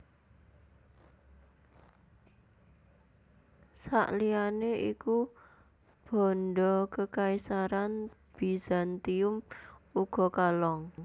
Sakliyane iku banda Kekaisaran Bizantium uga kalong